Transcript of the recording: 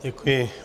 Děkuji.